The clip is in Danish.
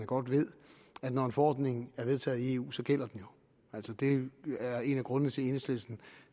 godt ved at når en forordning er vedtaget i eu så gælder den jo det er en af grundene til at enhedslisten